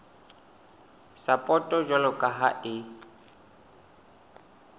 sapoto jwalo ka ha e